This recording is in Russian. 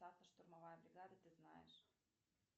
штурмовая бригада ты знаешь